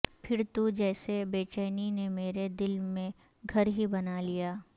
پھر تو جیسے بےچینی نے میرے دل میں گھر ہی بنا لیا